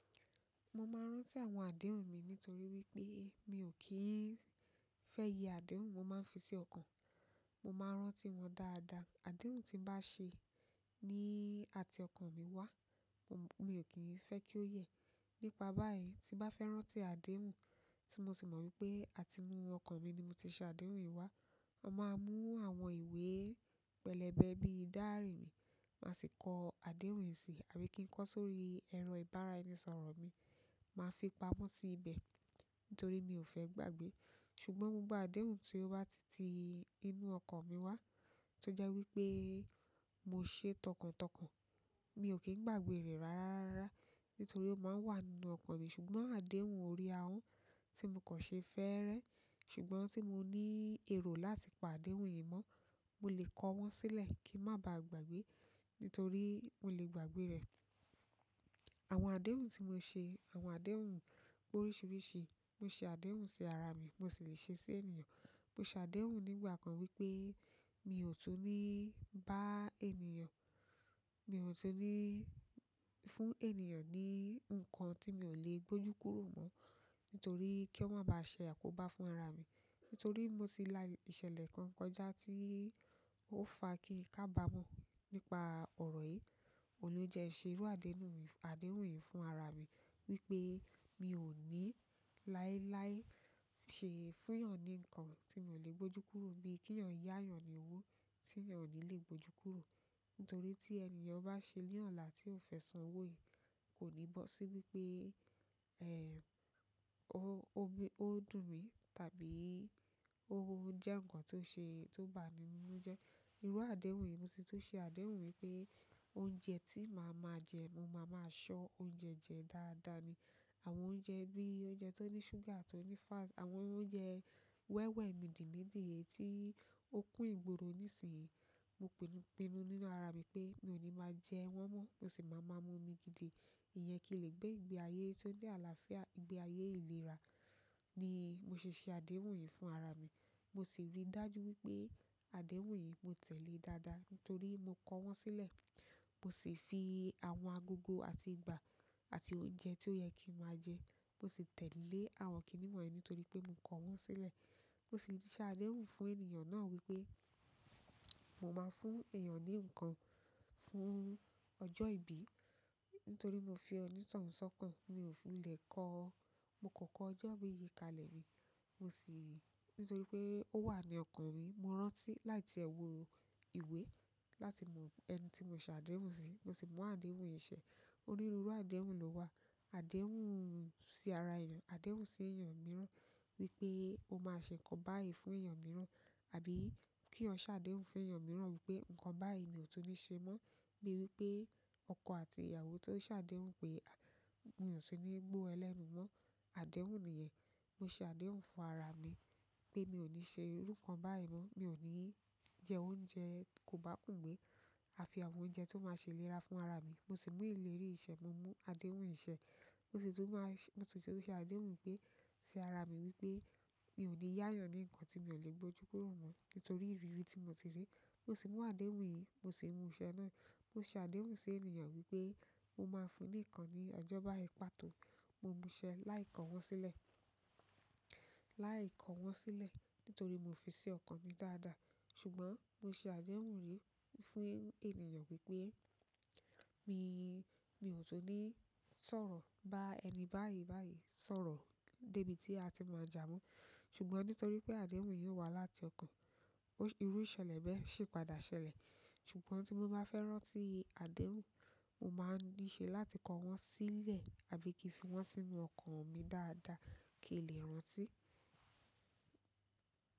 Mo máa ń rántí àwọn àdéhùn mi nítorí wípé mi ò kí ń fẹ́ yẹ àdéhùn, mo máa ń fi sí ọkàn. Mo máa ń rántí wọn dáadáa. Àdéhùn tí bá ṣe ní àti ọkàn mi wá, mo, mo ò kí ń fẹ́ kí ó yẹ. Nípa bayi tin ba fe rántí adeun ti mo si mo wípé àti inú okan mi ni mo ti se adeun yi wa mo máa mú àwọn ìwé pẹ̀lẹ́bẹ́ bí diary mi, màá sì kọ àdéhùn yìí sí, àbí kí n kọ sórí ẹro ìbáraẹnisọọ̀rọ̀ mi. Màá fi pamọ́ sí ibẹ̀ nítorí mi ò fẹ́ gbàgbé. Ṣùgbọ́n mo gba àdéhùn tí ó bá ti ti inú ọkàn mi wá tó jẹ́ wípé mo ṣe tọkàntọkàn. Mi ò kí ń gbàgbé rẹ̀ rárárárá nítorí ó máa ń wà nínú ọkàn mi. Ṣùgbọ́n àdéhùn orí ahọ́n tí mo kàn ṣe fẹ́ẹ́rẹ́. Ṣùgbọ́n tí mo ní ẹ̀ro láti pa àdéhùn yìí mọ́, mo lè kọ wọ́n sílẹ̀ kí ń má ba à gbàgbé, nítorí mo lè gbàgbé rẹ̀. Àwọn àdéhùn tí mo ṣe, àwọn àdéhùn pe oríṣiríṣi, mo ṣe àdéhùn sí ara mi, mo sì lè ṣe sí ènìyàn. Mo ṣe àdéhùn nígbà kan wípé mi ò tún ní bá ènìyàn, mi ò tún ní fún ènìyàn ní nǹkan tí mi ò lè gbójú kúrò mọ́ nítorí kí o máa ba ṣe àkóbá fún ara mi. Nítorí mo ti la ìṣẹ̀lẹ̀ kan kọjá ti o fa kin kabamo nípa oro yìí ohun lo jẹ n se iru àdéhùn yi, àdéhùn yìí fún ara mi wípé mi ò ní láilái ṣe fúnyàn ní nǹkan tí mo lè gbójú kúrò bí keyàn yá èeyàn ní owó tí èeyàn ò ní lè gbójú kúrò. Nítorí tí ènì yen bá ṣe ní ọ̀là tí ó fẹ́ san owó yìí kò ní bọ́ sí wípé, ó dùn mí tàbí ó jẹ́ ǹkan tó ṣe, tó bà mí nínú je, irú àdéhùn yìí mo si tún ṣe àdéhùn wípé oúnjẹ tí màá máa jẹ, mo máa máa ṣọ oúnjẹ jẹ dáadáa ni. Àwọn oúnjẹ bí oúnjẹ tó ní ṣúgà, tó ní fat, àwọn oúnjẹ wẹ́wẹ́, midinmidin yen tí ó kun ìgboro nísìnyí. Mo pinu nínú ara mi pé mi ò ní máa jẹ́ wọ́n mọ́, mo sì máa máa mú omi gidi. Ìyẹn kìn lè gbé ìgbé ayé ti ni àlàáfíà, ìgbé ayé ìlera ni mo ṣe ṣe àdéhùn yìí fún ara mi. Mo sì rí dájú wípé àdéhùn yìí mo tẹ̀lé dáadáa nítorí mo kọ wọ́n sílẹ̀. Mo sì fi àwọn agogo àti ìgbà àti oúnjẹ tí ó yẹ kín máa jẹ, mo sì tẹ̀lé àwọn nkan wọ̀nyí nítorí pé mo kọ wọ́n sílẹ̀. Mo sì ti ṣe àdéhùn fún ènìyàn náà wípé mo máa fún èèyàn ní ǹkan fún ọjọ́ ìbí nítorí mo fi ọ̀nitohun sọ́kàn. Mi ò fi lè kọ, mo kan kọ ọjọ́ bíi yìí kalẹ̀ rí. Mo sì-- nítorí pé ó wà ní ọkàn mi. Mo rántí láti wo ìwé, láti mo ẹni ti mo se adeun si, mo si mu adeun yìí se oniru iru déhùn ló wà. Àdéhùn sí ara ènìyàn, àdéhùn sí ènìyàn mìíràn wípé o máa ṣe nkan báyìí fún ènìyàn mìíràn. Àbí ki eeyan se àdéhùn fún eeyan miran wípé, nkan báyìí mi o tun ni se mi bíi wípé ọkọ àti ìyàwó tó sàdéhùn pé mi ò tún ní gbo e lẹ́nu mọ́. Àdéhùn nìyẹn. Mo ṣe àdéhùn fún ara mi pé mi ò ní ṣe irú ǹkan báyìí mọ́. Mi ò ní jẹ oúnjẹ kò bá kùngbé àfi àwọn oúnjẹ tió máa ṣe ìlera fún ara mi. Mo sì mú ìleri yìí ìṣẹ́, mo mú àdéhùn yìí ṣẹ́. Mo sì tún máa-- mo sì tún ṣe àdéhùn wípé sí ara mi wípé mi ò ní yá ènìyàn ní ǹkan tí mi ò lè gbójú kúrò mọ́ nítorí ìrírí tí mo ti rí. Mo sì mú àdéhùn yìí, mo sì mú iṣẹ́ náà. Mo ṣe àdéhùn sí ènìyàn wípé mo máa fún ní ǹkan ní ọjọ́ báyi pàtó. Mo múṣẹ́ láì kọ wọ́n sílẹ̀, láì kọ wọ́n sílẹ̀ nítorí mo fi sí ọkàn mi dáadáa. Ṣùgbọ́n mo ṣe àdéhùn rí fún ènìyàn wípé, mi ò tún ní sọ̀rọ̀ bá ẹni báyìí báyìí sọ̀rọ̀ débi tí a ti máa jà mọ́. Ṣùgbọ́n nítorí wípé adeun yìí o wa láti okan, iru ìṣẹ̀lẹ̀ bẹ́ẹ̀ o si tun padà ṣẹlẹ̀. Ṣùgbọ́n tí mo bá fẹ́ rántí àdéhùn, mo máa ní ṣe láti kọ wọ́n sílẹ̀ àbí kí fi wọ́n sínú ọkàn mi dáadáa kín lè rántí.